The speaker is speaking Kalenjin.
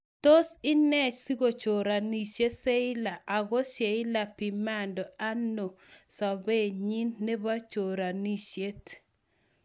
Tos ene sikochoranishe sheila ago sheila pimando ano somanenyin nepo choranishiet.